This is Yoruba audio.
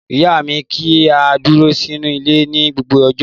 Ìyá mi ní kí á dúró sínú ilé ní gbogbo ọjọ́.